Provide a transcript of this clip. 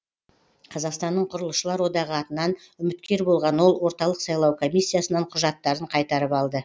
қазақстанның құрылысшылар одағы атынан үміткер болған ол орталық сайлау комиссиясынан құжаттарын қайтарып алды